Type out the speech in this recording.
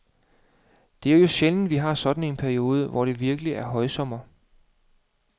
Det er jo sjældent, vi har sådan en periode, hvor det virkelig er højsommer.